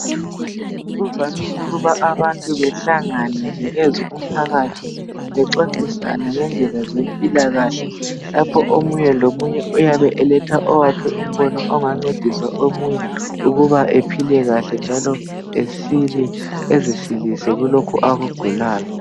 Kuvamile ukuthi abantu behlangane nje njengo mphakathi bexoxisane ngeze mpilakahle lapho omunye lomunye uyabe eletha owakhe umbona oyabe yngcedisa omunye ukuba ephile kahle njalo ezisilise kulokhu akugulayo